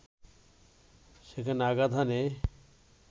সেখানে আঘাত হানে